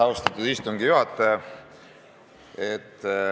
Austatud istungi juhataja!